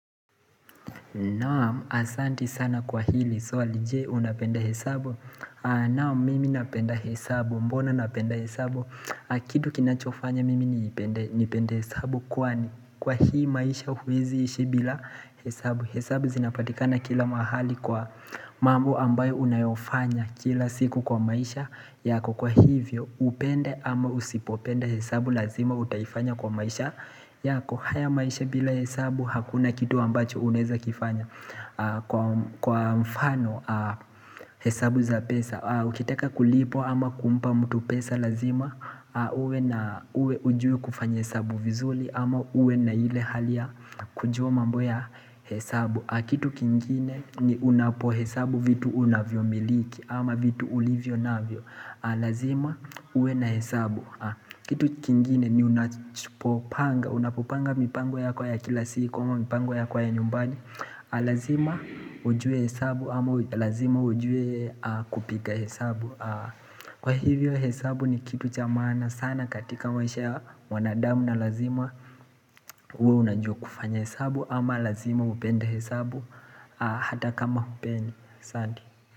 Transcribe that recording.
Naam, asanti sana kwa hili swali. Je, unapenda hesabu. Naam, mimi napenda hesabu. Mbona napenda hesabu? Kitu kinachofanya mimi nipende nipende hesabu kwani Kwa hii maisha huwezi ishi bila hesabu. Hesabu zinapatikana kila mahali kwa mambo ambayo unayofanya kila siku kwa maisha yako. Kwa hivyo upende ama usipopenda hesabu lazima utaifanya kwa maisha yako. Haya maisha bila hesabu hakuna kitu ambacho uneza kifanya. Kwa mfano hesabu za pesa. Ukitaka kulipwa ama kumpa mtu pesa lazima uwe hujui kufanya hesabu vizuri ama uwe na ile hali ya kujua mambo ya hesabu. Kitu kingine ni unapo hesabu vitu unavyomiliki ama vitu ulivyo navyo Lazima uwe na hesabu Kitu kingine ni unapopanga unapopanga mipango yako ya kila siku ama mipango yako ya nyumbani, Lazima ujue hesabu ama lazima ujue kupiga hesabu. Kwa hivyo hesabu ni kitu cha maana sana katika maisha ya wanadamu na lazima uwe unajua kufanya hesabu ama lazima upende hesabu Hata kama hupendi. Asante.